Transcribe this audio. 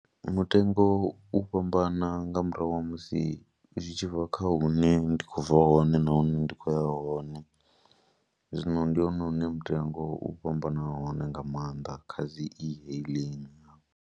Mutengo u fhambana nga murahu ha musi zwi tshi bva kha hune ndi khou bva hone nahone ndi khou ya hone, zwino ndi hone hune mutengo u fhambana hone nga maanḓa kha dzi e-hailing.